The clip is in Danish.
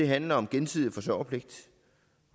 handler om gensidig forsørgerpligt